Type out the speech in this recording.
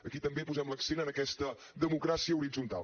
aquí també posem l’accent en aquesta democràcia horitzontal